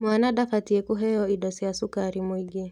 Mwana ndabatiĩ kũheo indo cia cukari mũingĩ